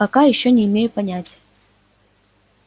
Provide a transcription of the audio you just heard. пока ещё не имею понятия